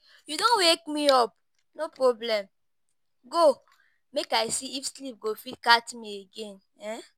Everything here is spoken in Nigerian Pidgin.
You don wake me up, no problem. Go, make I see if sleep go fit catch me again.